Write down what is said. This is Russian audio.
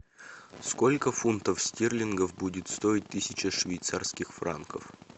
сколько фунтов стерлингов будет стоить тысяча швейцарских франков